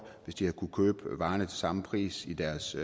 hvis de havde kunnet købe varerne til samme pris i deres